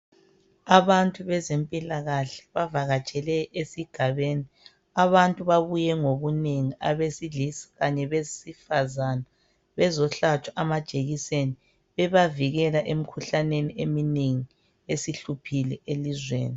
Abantu bezempilakahle bavakatshele esigabeni. Abantu babuye ngobunengi abesilisa kanye labesifazane bezohlatshwa amajekiseni ebavikela emkhuhlaneni eminengi esihluphile elizweni.